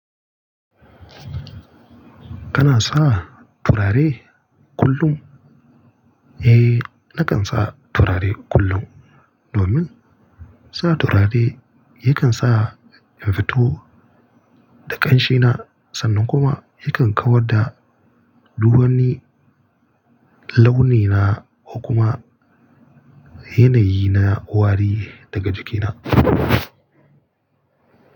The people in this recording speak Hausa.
Kana sa turare kullum? Eh, nakan sa turare kullum domin sa turare yakan sa in fito da ƙanshe na sannan kuma yakan kawar da duk wani launina ko kuma yanayi na wari daga jikina.